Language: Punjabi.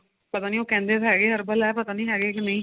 ਪਤਾ ਨੀ ਉਹ ਕਹਿੰਦੇ ਤਾਂ ਹੈਗੇ herbal ਏ ਪਤਾ ਨੀ ਹੈਗੇ ਕੇ ਨਹੀਂ